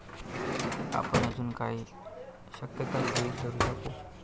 आपण अजून काय काय शक्यता गृहीत धरू शकू?